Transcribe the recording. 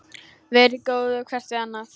Verið góð hvert við annað